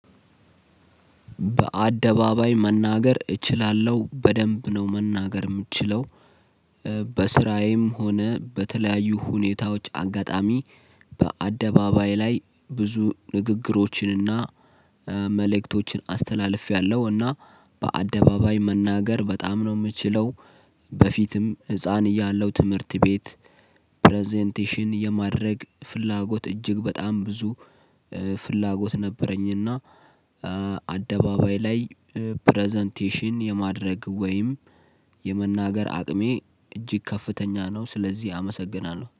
በአደባባይ መናገር እችላለሁ በደንብ ነው መናገር የምችለው። በስራዬም ሆነ በተለያዩ ሁኔታዎች አጋጣሚ በአደባባይ ላይ ብዙ ንግግሮችንና መልእክቶችን አስተላልፌያለሁ። እና በአደባባይ መናገር በጣም ነው የምችለው። በፊትም ህፃን እያለው ትምህርት ቤት ፕረዘንቴሽን የማድረግ ፍላጎት እጅግ በጣም ብዙ ፍላጎት ነበረኝና። አደባባይ ላይ ፕረዘንቴሽን የማድረግ ወይም የመናገር አቅሜ እጅግ ከፍተኛ ነው ስለዚህ አመሰግናለሁ